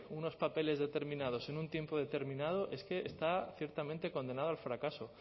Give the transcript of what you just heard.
unos papeles determinados en un tiempo determinado es que esta ciertamente condenado al fracaso